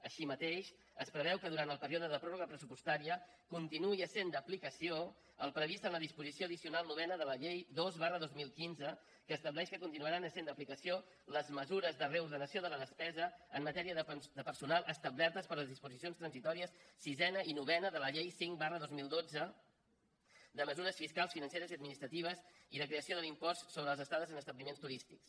així mateix es preveu que durant el període de pròrroga pressupostària continuï essent d’aplicació el previst en la disposició addicional novena de la llei dos dos mil quinze que estableix que continuaran essent d’aplicació les mesures de reordenació de la despesa en matèria de personal establertes per les disposicions transitòries sisena i novena de la llei cinc dos mil dotze de mesures fiscals financeres i administratives i de creació de l’impost sobre les estades en establiments turístics